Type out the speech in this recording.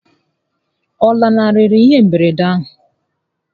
Ọ lanarịrị ihe mberede ahụ?